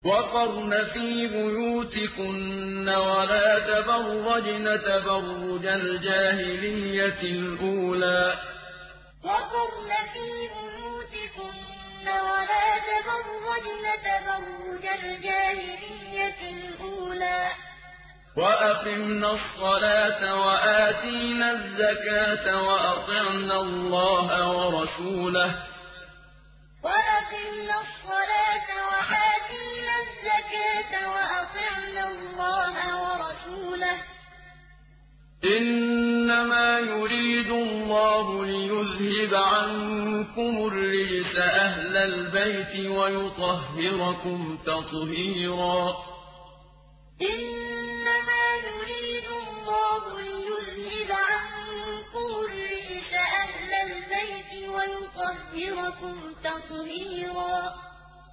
وَقَرْنَ فِي بُيُوتِكُنَّ وَلَا تَبَرَّجْنَ تَبَرُّجَ الْجَاهِلِيَّةِ الْأُولَىٰ ۖ وَأَقِمْنَ الصَّلَاةَ وَآتِينَ الزَّكَاةَ وَأَطِعْنَ اللَّهَ وَرَسُولَهُ ۚ إِنَّمَا يُرِيدُ اللَّهُ لِيُذْهِبَ عَنكُمُ الرِّجْسَ أَهْلَ الْبَيْتِ وَيُطَهِّرَكُمْ تَطْهِيرًا وَقَرْنَ فِي بُيُوتِكُنَّ وَلَا تَبَرَّجْنَ تَبَرُّجَ الْجَاهِلِيَّةِ الْأُولَىٰ ۖ وَأَقِمْنَ الصَّلَاةَ وَآتِينَ الزَّكَاةَ وَأَطِعْنَ اللَّهَ وَرَسُولَهُ ۚ إِنَّمَا يُرِيدُ اللَّهُ لِيُذْهِبَ عَنكُمُ الرِّجْسَ أَهْلَ الْبَيْتِ وَيُطَهِّرَكُمْ تَطْهِيرًا